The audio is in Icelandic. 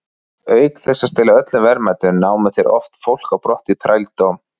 Auk þess að stela öllum verðmætum, námu þeir oft fólk á brott í þrældóm.